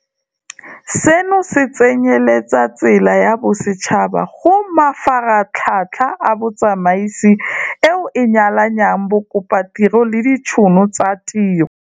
Seno se tsenyeletsa tsela ya bosetšhaba go mafaratlhatlha a botsamaisi eo e nyalanyang bakopatiro le ditšhono tsa tiro.